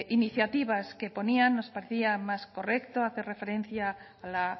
iniciativas que ponían nos parecía más correcto hacer referencia a la